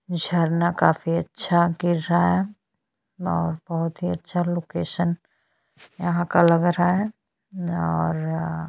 झरना काफी अच्छा गिर रहा है और बहुत ही अच्छा लोकेशन यहाँ का लग रहा है और--